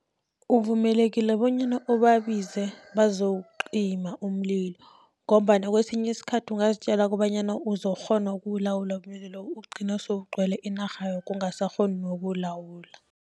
Uvumelekile bonyana ubabize bazowucima umlilo, ngombana kesinye isikhathi ungazitjela kobanyana uzokukghona ukulawula umlilo loyo, ugcine sewugcwele inarha yoke ungasakghoni nokuwulawula.